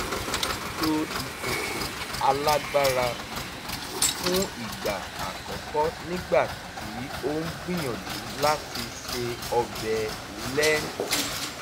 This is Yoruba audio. ó lo ìkòkò alágbára fún ìgbà àkọ́kọ́ nígbà tí ó ń gbìyànjú láti se ọbẹ̀ lẹ́ńtì